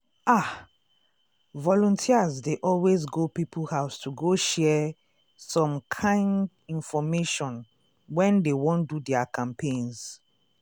ah! volunteers dey always go people house to go share um some kind infomation when dey wan do their campaigns.